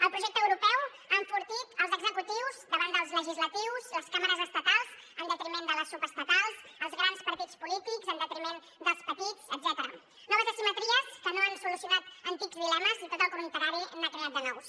el projecte europeu ha enfortit els executius davant dels legislatius les cambres estatals en detriment de les subestatals els grans partits polítics en detriment dels petits etcètera noves asimetries que no han solucionat antics dilemes i tot al contrari n’han creat de nous